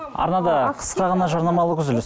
арнада қысқа ғана жарнамалық үзіліс